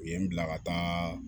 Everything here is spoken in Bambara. U ye n bila ka taa